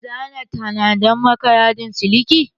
Zan tanada maka yadin siliki